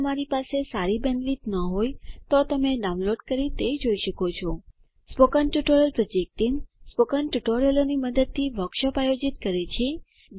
જો તમારી પાસે સારી બેન્ડવિડ્થ ન હોય તો તમે ડાઉનલોડ કરી તે જોઈ શકો છો સ્પોકન ટ્યુટોરીયલ પ્રોજેક્ટ ટીમ સ્પોકન ટ્યુટોરીયલોની મદદથી વર્કશોપ આયોજિત કરે છે